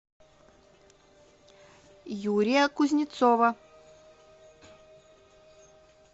юрия кузнецова